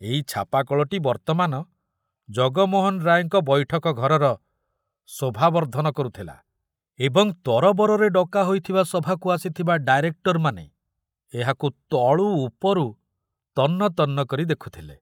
ଏଇ ଛାପାକଳଟି ବର୍ତ୍ତମାନ ଢଗମୋହନ ରାୟଙ୍କ ବୈଠକ ଘରର ଶୋଭା ବର୍ଦ୍ଧନ କରୁଥିଲା ଏବଂ ତରବରରେ ଡକା ହୋଇଥିବା ସଭାକୁ ଆସିଥିବା ଡାଇରେକ୍ଟରମାନେ ଏହାକୁ ତଳୁ ଉପରୁ ତନ୍ନ ତନ୍ନ କରି ଦେଖୁଥିଲେ।